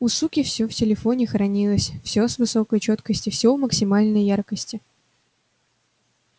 у суки всё в телефоне хранилось всё в высокой чёткости всё в максимальной яркости